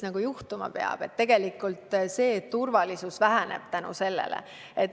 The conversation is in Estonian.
see, et turvalisus väheneb.